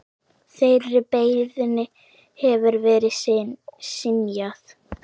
Þeirri beiðni hefur verið synjað.